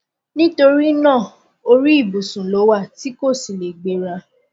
nítorí náà orí ìbùsùn ló wà tí kò sì lè gbéra